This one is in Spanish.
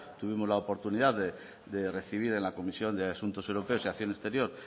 tuvimos la oportunidad de recibir en la comisión de asuntos europeos y acción exterior